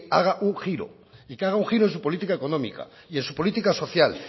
haga un giro y que haga un giro en su política económica y en su política social